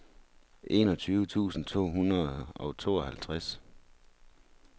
enogtyve tusind to hundrede og tooghalvtreds